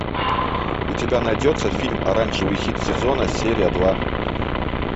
у тебя найдется фильм оранжевый хит сезона серия два